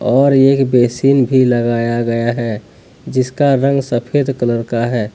और एक बेसिंग भी लगाया गया है जिसका रंग सफेद कलर का है।